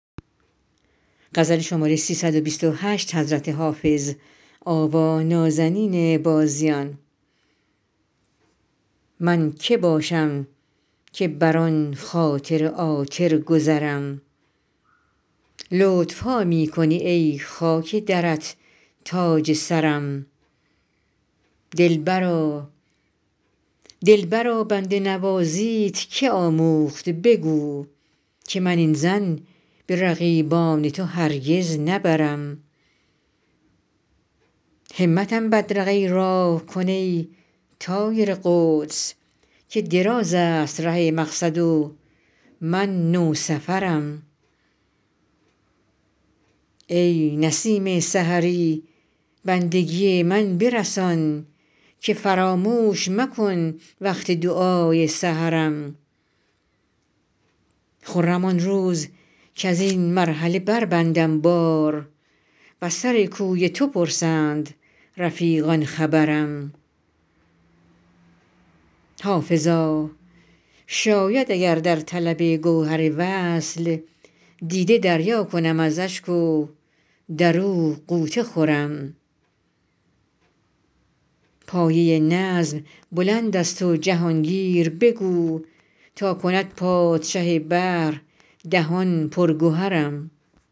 من که باشم که بر آن خاطر عاطر گذرم لطف ها می کنی ای خاک درت تاج سرم دلبرا بنده نوازیت که آموخت بگو که من این ظن به رقیبان تو هرگز نبرم همتم بدرقه راه کن ای طایر قدس که دراز است ره مقصد و من نوسفرم ای نسیم سحری بندگی من برسان که فراموش مکن وقت دعای سحرم خرم آن روز کز این مرحله بربندم بار و از سر کوی تو پرسند رفیقان خبرم حافظا شاید اگر در طلب گوهر وصل دیده دریا کنم از اشک و در او غوطه خورم پایه نظم بلند است و جهان گیر بگو تا کند پادشه بحر دهان پر گهرم